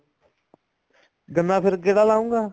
ਗੰਨਾ ਫ਼ੇਰ ਕਿਹੜਾ ਲਾਊਂਗਾ